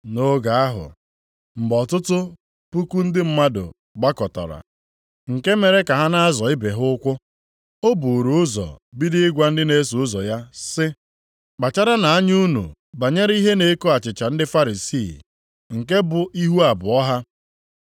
Nʼoge ahụ, mgbe ọtụtụ puku ndị mmadụ gbakọtara, nke mere ka ha na-azọ ibe ha ụkwụ. O buuru ụzọ bido ịgwa ndị na-eso ụzọ ya sị, “Kpacharanụ anya unu banyere ihe na-eko achịcha ndị Farisii, nke bụ ihu abụọ ha.